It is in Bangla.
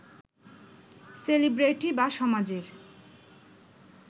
সেলিব্রেটি বা সমাজের